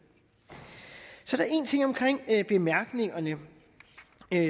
så er der en ting omkring bemærkningerne